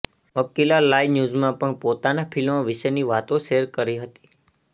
Akila live ન્યુઝમાં પણ પોતાના ફિલ્મ વિશેની વાતો શેર કરી હતી